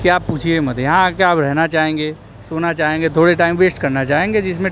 कि आप पूछिए मत यहां आके आप रहना चाहेंगे सोना चाहेंगे थोड़े टाइम वेस्ट करना चाहेंगे जिसमें--